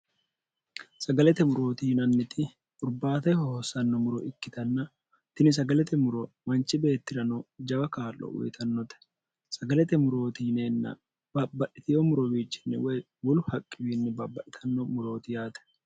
sagalete murooti yinanniti urbaateho hoossanno muro ikkitanna tini sagalete muro manchi beettirano jawa kaallo uyitannote sagalete murooti yineenna babbadhitiyo murobiichinni woy wolu haqqiwiinni baabbadhitanno murooti yaate